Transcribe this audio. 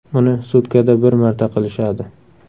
Uni sutkada bir marta qilishadi.